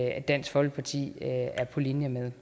at dansk folkeparti er på linje med